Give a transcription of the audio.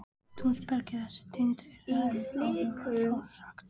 Tvær rannsóknir hafa verið gerðar á áfengissýki meðal